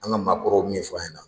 An ka maakɔrɔw ye min ɲɛfɔ an ɲɛna